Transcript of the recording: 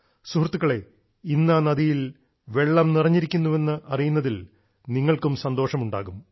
സുഹൃത്തുക്കളെ ഇന്ന് ആ നദിയിൽ വെള്ളം നിറഞ്ഞിരിക്കുന്നുവെന്ന് അറിയുന്നതിൽ നിങ്ങൾക്കും സന്തോഷമുണ്ടാകും